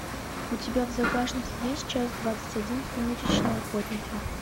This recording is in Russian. у тебя в загашнике есть часть двадцать один сумеречные охотники